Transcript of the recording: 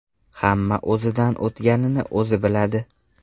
Hamma o‘zidan o‘tganini o‘zi biladi.